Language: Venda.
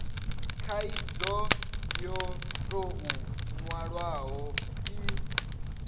khaidzo yo tou nwalwaho i